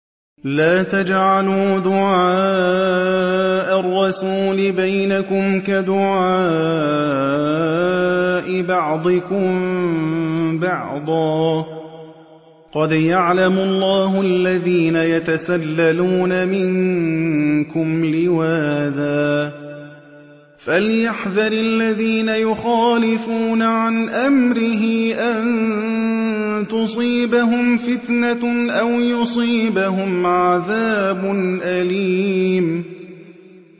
لَّا تَجْعَلُوا دُعَاءَ الرَّسُولِ بَيْنَكُمْ كَدُعَاءِ بَعْضِكُم بَعْضًا ۚ قَدْ يَعْلَمُ اللَّهُ الَّذِينَ يَتَسَلَّلُونَ مِنكُمْ لِوَاذًا ۚ فَلْيَحْذَرِ الَّذِينَ يُخَالِفُونَ عَنْ أَمْرِهِ أَن تُصِيبَهُمْ فِتْنَةٌ أَوْ يُصِيبَهُمْ عَذَابٌ أَلِيمٌ